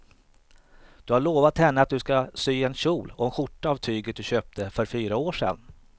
Du har lovat henne att du ska sy en kjol och skjorta av tyget du köpte för fyra år sedan.